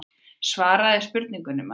Svaraðu spurningunni maður.